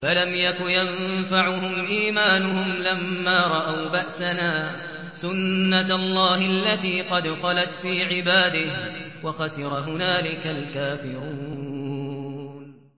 فَلَمْ يَكُ يَنفَعُهُمْ إِيمَانُهُمْ لَمَّا رَأَوْا بَأْسَنَا ۖ سُنَّتَ اللَّهِ الَّتِي قَدْ خَلَتْ فِي عِبَادِهِ ۖ وَخَسِرَ هُنَالِكَ الْكَافِرُونَ